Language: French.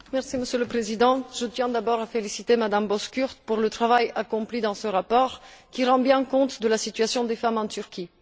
Monsieur le Président, je tiens d'abord à féliciter Mme Bozkurt pour le travail accompli dans ce rapport qui rend bien compte de la situation des femmes en Turquie.